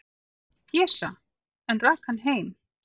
"""Pésa, en rak hann heim."""